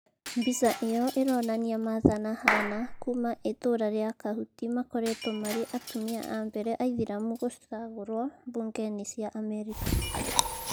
Mbica ĩyo ĩronania martha na hannah kuma ĩtura ria kahũti makoretwo marĩ atumia a mbele aithĩramu gũcagũrwo mbunge-inĩ cia Amerika